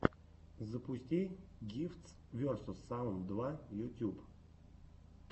запусти гифтс версус саунд два ютюб